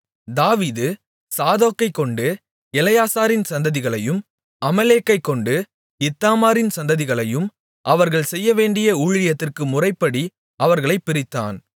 தாவீது சாதோக்கைக்கொண்டு எலெயாசாரின் சந்ததிகளையும் அகிமெலேக்கைக்கொண்டு இத்தாமாரின் சந்ததிகளையும் அவர்கள் செய்யவேண்டிய ஊழியத்திற்கு முறைப்படி அவர்களைப் பிரித்தான்